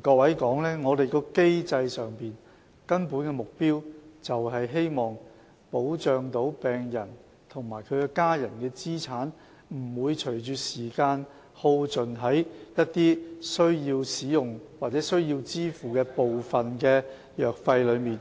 告訴大家，在機制上，我們的根本目標就是希望能保障病人及其家人的資產，不會隨着時間而耗盡於一些需要使用的藥物或需要支付的部分藥費上。